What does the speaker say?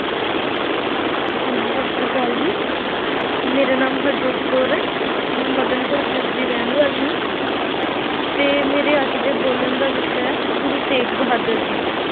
ਹਾਂਜੀ ਸਤਿ ਸ੍ਰੀ ਅਕਾਲ ਜੀ, ਮੇਰਾ ਨਾਮ ਹਰਜੋਤ ਕੌਰ ਹੈ, ਮੈਂ ਮਦਨਪੁਰ ਪਿੰਡ ਦੀ ਰਹਿਣ ਵਾਲੀ ਹਾਂ ਅਤੇ ਮੇਰੇ ਅੱਜ ਦੇ ਬੋਲਣ ਦਾ ਵਿਸ਼ਾ ਹੈ, ਗੁਰੂ ਤੇਗ ਬਹਾਦਰ ਜੀ,